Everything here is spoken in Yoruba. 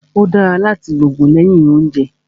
Ó dára láti lògùn lẹ́yìn óúnjẹ